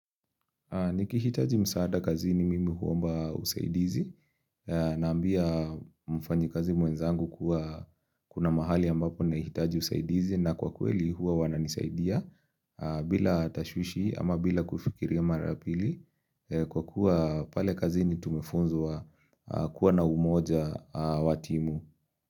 Niki hitaji msaada kazini mimi huomba usaidizi, naambia mfanyi kazi mwenzangu kuna mahali ambapo na hitaji usaidizi na kwa kweli huwa wananisaidia bila tashushi ama bila kufikiria marapili kwa kuwa pale kazini tumefunzwa kuwa na umoja watimu.